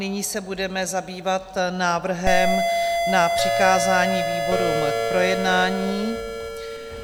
Nyní se budeme zabývat návrhem na přikázání výborům k projednání.